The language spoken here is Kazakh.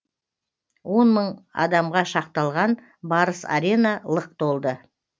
он мың адамға шақталған барыс арена лық толды